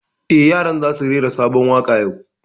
Eh, yaran za su rera sabon waƙa yau